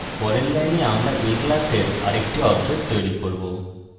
পরের line আমরা a class আরেকটি object তৈরি করব